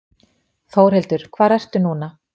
Þórhildur, hvar ertu núna?